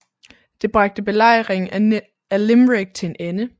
Det bragte Belejringen af Limerick til en ende